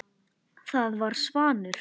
Það var Svanur.